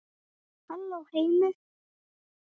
Halló heimur!